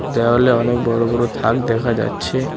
দেওয়ালে অনেক বড়ো বড়ো থাক দেখা যাচ্ছে।